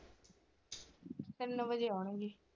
ਤਿੰਨ ਵਜੇ ਆਉਣਗੇ।